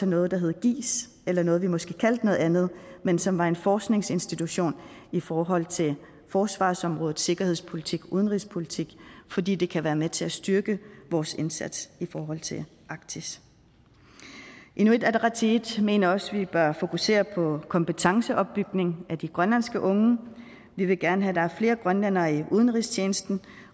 noget der hed giis eller noget vi måske kaldte noget andet men som var en forskningsinstitution i forhold til forsvarsområdet sikkerhedspolitik og udenrigspolitik fordi det kan være med til at styrke vores indsats i forhold til arktis inuit ataqatigiit mener også at vi bør fokusere på kompetenceopbygning af de grønlandske unge vi vil gerne have at der er flere grønlændere i udenrigstjenesten